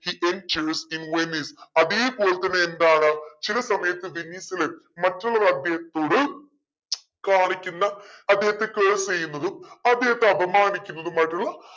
he enters in Venice അതേപോലെതന്നെ എന്താണ് ചില സമയത്ത് വെനീസിലെ മറ്റുള്ളവർ അദ്ദേഹത്തോട് കാണിക്കുന്ന അദ്ദേഹത്തെ curse ചെയ്യുന്നതും അദ്ദേഹത്തെ അപമാനിക്കുന്നതുമായിട്ടുള്ള